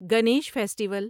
Ganesh festival